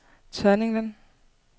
Tørninglen